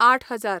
आठ हजार